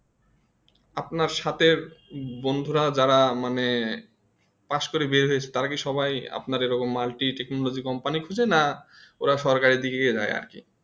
আপনার সাথে বন্ধুরা যারা মানে pass করে বের হয়েছে তারা কি সবাই আপনা এইরকম Multi company খুঁজে না কি ওরা সরকারি দিকে যায় আরকি